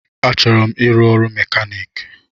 Achọrọ m ịrụ ọrụ mekanik